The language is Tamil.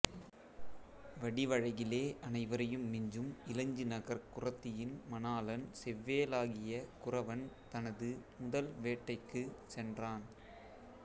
வடிவழகிலே அனைவரையும் மிஞ்சும் இலஞ்சி நகர்க் குறத்தியின் மணாளன் செவ்வேளாகிய குறவன் தனது முதல் வேட்டைக்குச் சென்றான்